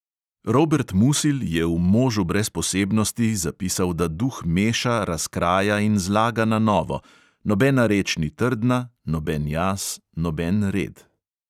Robert musil je v možu brez posebnosti zapisal, da duh meša, razkraja in zlaga na novo, nobena reč ni trdna, noben jaz, noben red.